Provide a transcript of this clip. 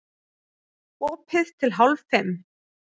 Opið til hálf fimm